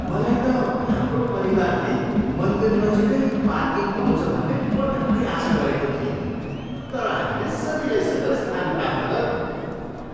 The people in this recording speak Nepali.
मलाई त हाम्रो परिवारले मन्दिर नजिकै पार्किङ पाउँछ भन्ने पटक्कै आशा गरेको थिइनँ। तर हामीले सजिलैसँग स्थान प्राप्त गऱ्यौँ।